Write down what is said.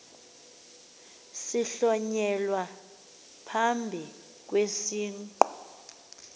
sihlonyelwa phambi kwesiqu